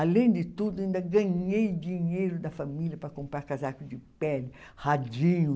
Além de tudo, ainda ganhei dinheiro da família para comprar casaco de pele, raidinho.